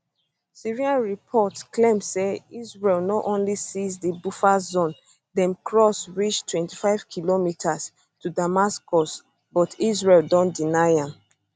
syrian reports claim say israel no only seize di buffer zone dem cross reach 25 kilometres to damascus but israel don deny am